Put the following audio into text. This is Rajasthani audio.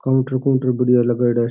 काउंटर बढ़िया लगयेड़ा है।